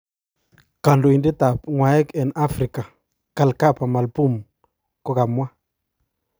Kondoidet ab ngwaek eng Africa, Kalkaba Malboum, kokamwa.